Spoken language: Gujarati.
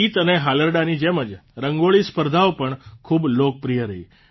ગીત અને હાલરડાંની જેમ જ રંગોળી સ્પર્ધા પણ ખૂબ લોકપ્રિય રહી